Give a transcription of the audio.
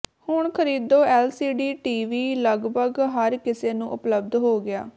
ਹੁਣ ਖਰੀਦੋ LCD TV ਲਗਭਗ ਹਰ ਕਿਸੇ ਨੂੰ ਉਪਲੱਬਧ ਹੋ ਗਿਆ